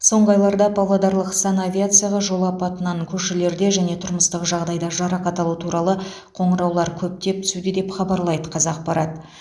соңғы айларда павлодарлық санавиацияға жол апатынан көшелерде және тұрмыстық жағдайда жарақат алу туралы қоңыраулар көптеп түсуде деп хабарлайды қазақпарат